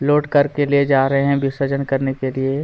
load करके ले जा रहै है विर्सजन करने के लिए --